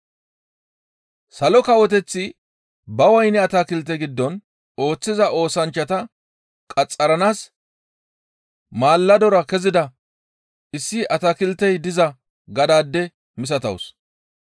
«Salo Kawoteththi ba woyne atakilte giddon ooththiza oosanchchata qaxxaranaas maaladora kezida issi atakiltey diza gadaade misatawus.